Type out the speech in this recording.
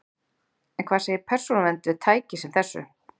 En hvað segir Persónuvernd við tæki sem þessu?